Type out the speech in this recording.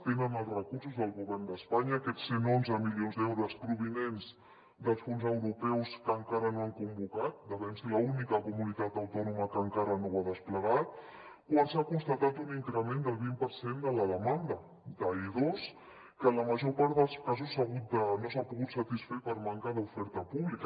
tenen els recursos del govern d’espanya aquests cent i onze milions d’euros provinents dels fons europeus que encara no han convocat devem ser l’única comunitat autònoma que encara no ho ha desplegat quan s’ha constatat un increment del vint per cent de la demanda d’i2 que la major part dels casos no s’ha pogut satisfer per manca d’oferta pública